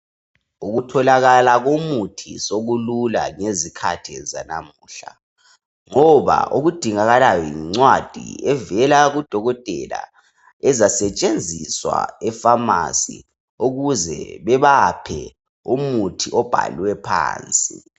Ukutholakala komuthi sokulula ngezikhathi zanamuhla ngoba okudingakalayo yincwadi evela kudokotela ezasetshenziswa epharmacy ukuze bebaphe umuthi obhalwe phansi.